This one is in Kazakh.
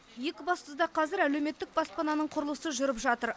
екібастұзда қазір әлеуметтік баспананың құрылысы жүріп жатыр